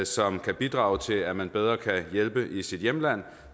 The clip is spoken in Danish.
som kan bidrage til at man bedre kan hjælpe i sit hjemland